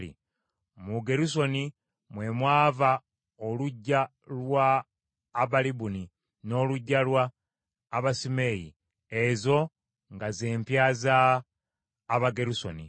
Mu Gerusoni mwe mwava oluggya lwa Abalibuni n’oluggya lwa Abasimeeyi; ezo nga z’empya za Abagerusoni.